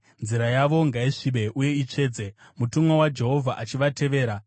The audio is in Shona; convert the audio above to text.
nzira yavo ngaisvibe uye itsvedze, mutumwa waJehovha achivateverera.